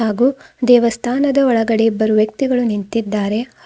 ಹಾಗೂ ದೇವಸ್ಥಾನದ ಒಳಗಡೆ ಇಬ್ಬರು ವ್ಯಕ್ತಿಗಳು ನಿಂತಿದ್ದಾರೆ.